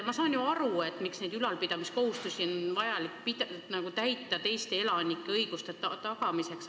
Ma saan ju aru, miks neid ülalpidamiskohustusi on vaja täita – see on teiste elanike õiguste tagamiseks.